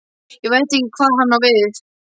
Veit ekki hvað hann á við.